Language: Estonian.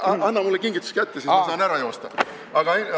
Anna mulle kingitus kätte, siis ma saan ära joosta!